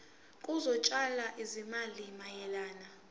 zokutshala izimali mayelana